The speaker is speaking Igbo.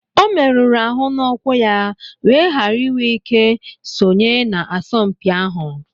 Ọ merụrụ arụ n'ụkwụ ya wéé ghara iwé ike sonye na asọmpi ahụ